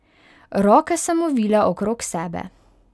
Roke sem ovila okrog sebe.